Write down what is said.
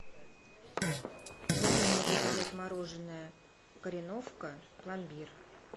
можно мне заказать мороженое кореновка пломбир